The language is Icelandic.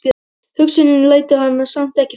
Hugsunin lætur hana samt ekki í friði.